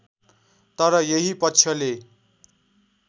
तर यही पक्षले